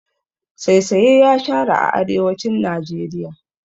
Saisaye ya shara a arewacin Najeriya.